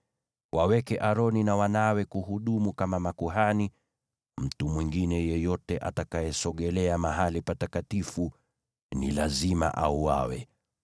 Waweke Aroni na wanawe kuhudumu kama makuhani; mtu mwingine yeyote atakayesogea mahali patakatifu ni lazima auawe.”